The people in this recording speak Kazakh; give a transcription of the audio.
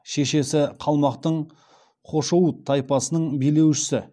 шешесі қалмақтың хошоуыт тайпасының билеушісі